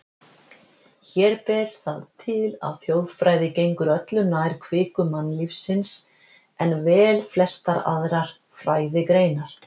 Hér ber það til, að þjóðfræði gengur öllu nær kviku mannlífsins en velflestar aðrar fræðigreinar.